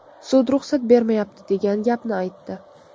Sud ruxsat bermayapti, degan gapni aytdi.